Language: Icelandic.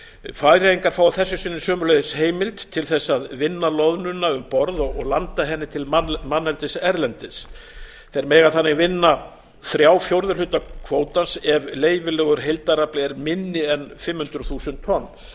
færeyingar fá að þessu sinni sömuleiðis heimild til þess að vinna loðnuna um borð og landa henni til manneldis erlendis þeir mega þannig vinna þrjá fjórðu hluta kvótans ef leyfilegur heildarafli er minni en fimm hundruð þúsund lestir